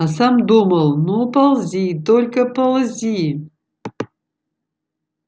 а сам думал ну ползи только ползи